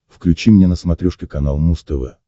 включи мне на смотрешке канал муз тв